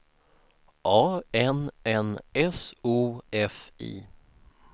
A N N S O F I